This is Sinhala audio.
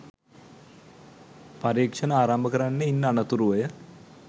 පරීක්‍ෂණ ආරම්භ කරන්නේ ඉන් අනතුරුවය.